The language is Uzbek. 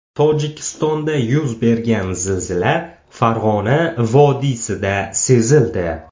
Tojikistonda yuz bergan zilzila Farg‘ona vodiysida sezildi.